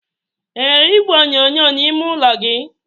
enwere igwe onyonyo n'ime ime ụlọ gị?